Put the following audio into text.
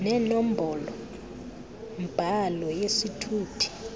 nenombolo mbhalo yesithuthi